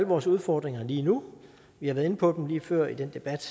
vores udfordringer lige nu vi har været inde på dem lige før i den debat